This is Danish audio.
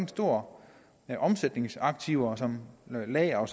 store omsætningsaktiver som lagre